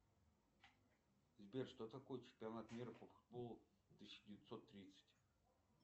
сбер что такое чемпионат мира по футболу тысяча девятьсот тридцать